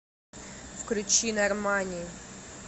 включи нормани